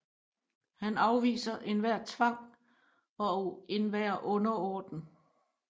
Han afviser enhver Tvang og enhver Underordnen